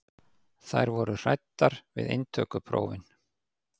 Þær voru hræddar við inntökuprófin.